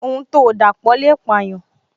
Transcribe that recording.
Ohun to dapo le payan